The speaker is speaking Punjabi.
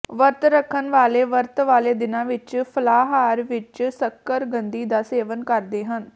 ਵਰਤ ਰੱਖਣ ਵਾਲੇ ਵਰਤ ਵਾਲੇ ਦਿਨਾਂ ਵਿਚ ਫਲਾਹਾਰ ਵਿਚ ਸ਼ੱਕਰਕੰਦੀ ਦਾ ਸੇਵਨ ਕਰਦੇ ਹਨ